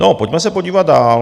A pojďme se podívat dál.